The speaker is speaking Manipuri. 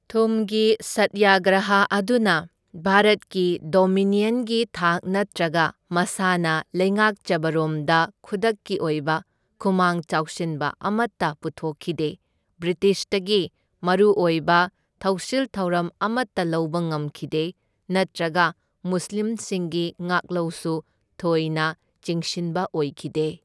ꯊꯨꯝꯒꯤ ꯁꯠꯌꯥꯒ꯭ꯔꯍꯥ ꯑꯗꯨꯅ, ꯚꯥꯔꯠꯀꯤ ꯗꯣꯃꯤꯅꯤꯌꯟꯒꯤ ꯊꯥꯛ ꯅꯠꯇ꯭ꯔꯒ ꯃꯁꯥꯅ ꯂꯩꯉꯥꯛꯆꯕꯔꯣꯝꯗ ꯈꯨꯗꯛꯀꯤ ꯑꯣꯏꯕ ꯈꯨꯃꯥꯡ ꯆꯥꯎꯁꯤꯟꯕ ꯑꯃꯇ ꯄꯨꯊꯣꯛꯈꯤꯗꯦ, ꯕ꯭ꯔꯤꯇꯤꯁꯇꯒꯤ ꯃꯔꯨ ꯑꯣꯏꯕ ꯊꯧꯁꯤꯜ ꯊꯧꯔꯝ ꯑꯃꯇ ꯂꯧꯕ ꯉꯝꯈꯤꯗꯦ, ꯅꯠꯇ꯭ꯔꯒ ꯃꯨꯁꯂꯤꯝꯁꯤꯡꯒꯤ ꯉꯥꯛꯂꯧꯁꯨ ꯊꯣꯏꯅ ꯆꯤꯡꯁꯤꯟꯕ ꯑꯣꯏꯈꯤꯗꯦ꯫